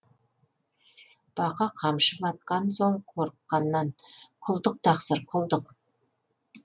бақа қамшы батқан соң қорыққаннан құлдық тақсыр құлдық